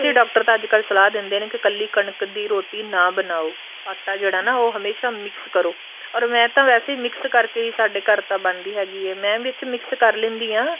doctor ਤਾਂ ਅੱਜਕਲ ਸਲਾਹ ਦਿੰਦੇ ਨੇ ਕੀ ਇੱਕਲੀ ਕਣਕ ਦੀ ਰੋਟੀ ਨਾ ਬਣਾਉ ਆਟਾ ਜਿਹੜਾ ਏ ਉਹ ਹਮੇਸ਼ਾ mix ਕਰੋ ਮੈਂ ਵੈਸੇ mix ਕਰਕੇ ਹੀ ਸਾਡੇ ਘਰ ਤਾਂ ਬਣਦੀ ਹੈਗੀ ਏ ਮੈਂ ਵਿੱਚ mix ਕਰ ਲੈਂਦੀ ਹਾਂ